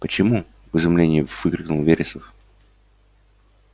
почему в изумлении выкрикнул вересов